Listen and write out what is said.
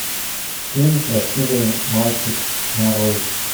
фильм красивый мальчик нарой